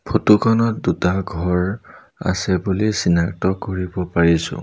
Photo খনত দুটা ঘৰ আছে বুলি চিনাক্ত কৰিব কৰিছোঁ।